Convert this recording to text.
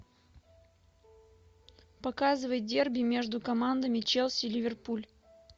показывай дерби между командами челси ливерпуль